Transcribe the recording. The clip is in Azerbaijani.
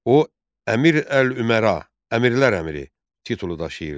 O Əmir əl-Üməra (Əmirlər əmiri) titulu daşıyırdı.